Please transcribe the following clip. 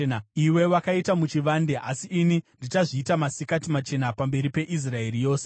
Iwe wakaita muchivande, asi ini ndichazviita masikati machena pamberi peIsraeri yose.’ ”